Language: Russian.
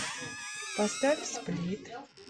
поставь сплит